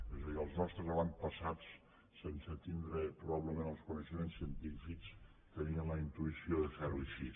és a dir els nostres avantpassats sense tindre’n probablement els coneixements científics tenien la intuïció de fer ho així